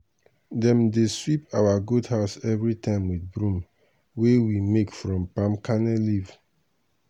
dem dey sweep our goat house every time with broom wey we make from palm kernel leaf